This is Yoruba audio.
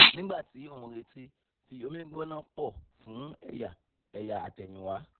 nígbà tí o ń retí fi omi gbóná pọ̀ fún ẹ̀yà ẹ̀yà àtẹ̀yìnwá